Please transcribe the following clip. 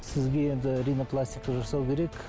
сізге енді ринопластика жасау керек